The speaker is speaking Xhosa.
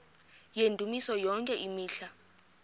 yendumiso yonke imihla